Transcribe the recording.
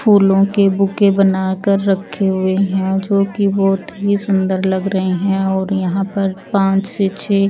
फूलो के बूके बनाकर रखे हुए हैं जो की बहुत ही सुन्दर लग रहे है और यहाँ पर पांच से छह--